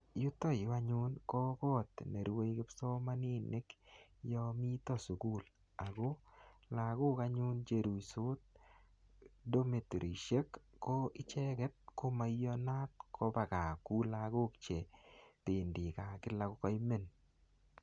Yutoyu anyun, ko kot nerue kipsomaninik yamite sukul. Ako lagok anyun cheruisot domitorisiek, ko icheket, ko maiyanat koba gaa kuu lagok chebendi gaa kila kokaimen.